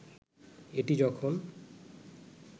এটি যখন